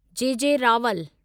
जे J Rawal